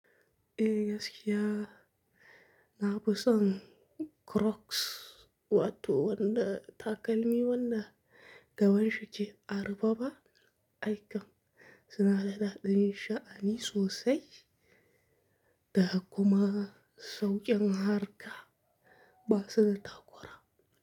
Eh gaskiya, na busan Crocs wato wanda takalmi wanda gaban shiki a rufa ba aikam suna da ɗaɗin sha'ani sosai da kuma sauƙin harka ba su da takora.